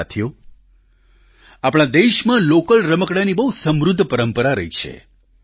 સાથીઓ આપણા દેશમાં લોકલ રમકડાંની બહુ સમૃદ્ધ પરંપરા રહી છે